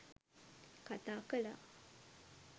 කතා කළා.